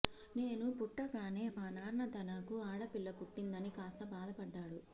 నేను పుట్టగానే మా నాన్న తనకు ఆడపిల్ల పుట్టిందని కాస్త బాధపడ్డాడు